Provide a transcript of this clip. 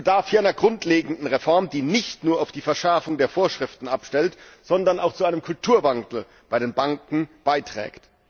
Es bedarf hier einer grundlegenden Reform, die nicht nur auf die Verschärfung der Vorschriften abstellt, sondern auch zu einem Kulturwandel bei den Banken beiträgt.